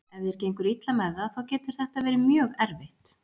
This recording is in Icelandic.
Ef þér gengur illa með það þá getur þetta verið mjög erfitt.